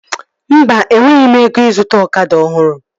Mba, enweghị m ego ịzụta ọkada ọhụrụ